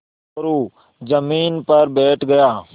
मोरू ज़मीन पर बैठ गया